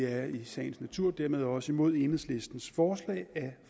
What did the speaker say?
er i sagens natur dermed også imod enhedslistens forslag